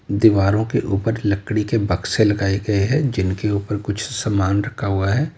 दीवारों के ऊपर लकड़ी के बक्से लगाए गए हैं जिनके ऊपर कुछ सामान रखा हुआ है।